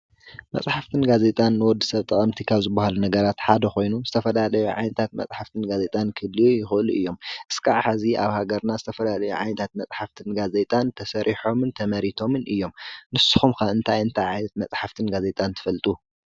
መጽሕፍትን ጋዜጣን ንወዲ ሰብ ጠቐምቲ ካብ ዝብሃል ነገራት ሓደ ኾይኑ ዝተፈላለዩ ዓይነታት መጽሕፍትን ጋዜጣን ክህልዩ ይኸሉ እዮም። እስካዕ ሕዚ ኣብ ሃገርና ዝተፈላለዩ ዓይንታት መጽሕፍትን ጋዜይጣን ተሰሪሖምን ተመሪቶምን እዮም። ንስኹም ከ እንታይ እንታይ ዓይነት መጽሕፍትን ጋዜጣን ትፈልጡ?